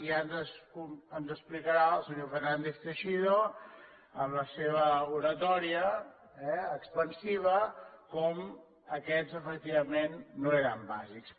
i ara ens explicarà el senyor fernández teixidó amb la seva oratòria eh expansiva com aquests efectivament no eren bàsics